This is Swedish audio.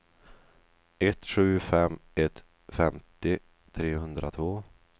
ett sju fem ett femtio trehundratvå